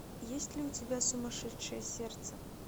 есть ли у тебя сумасшедшее сердце